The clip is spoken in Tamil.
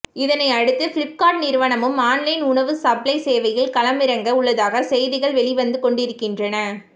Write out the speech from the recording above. இதனையடுத்து பிளிப்கார்ட் நிறுவனமும் ஆன்லைன் உணவு சப்ளை சேவையில் களமிறங்க உள்ளதாக செய்திகள் வெளிவந்து கொண்டிருக்கின்றன